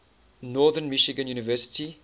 northern michigan university